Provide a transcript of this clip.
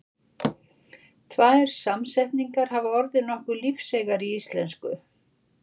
Tvær samsetningar hafa orðið nokkuð lífseigar í íslensku.